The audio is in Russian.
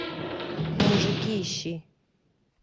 мужики ищи